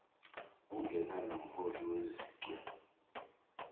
ungena nomholi wezichwe